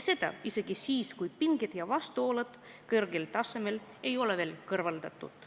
Seda isegi siis, kui pinged ja vastuolud ei ole veel kõrvaldatud.